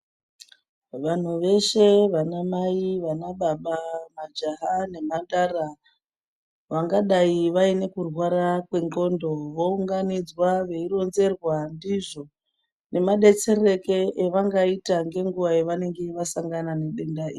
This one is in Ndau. Vanhu veshe vana mai, vana baba, majaha nemhandara vangadai vaine kurwara kwendxondo vounganidzwa veironzerwa ndizvo nemadzetsereke evangaita ngenguva yavanenge vasangana nedenda iri.